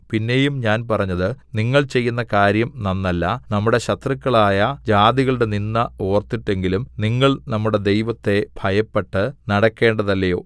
പിന്നെയും ഞാൻ പറഞ്ഞത് നിങ്ങൾ ചെയ്യുന്ന കാര്യം നന്നല്ല നമ്മുടെ ശത്രുക്കളായ ജാതികളുടെ നിന്ദ ഓർത്തിട്ടെങ്കിലും നിങ്ങൾ നമ്മുടെ ദൈവത്തെ ഭയപ്പെട്ട് നടക്കേണ്ടതല്ലയോ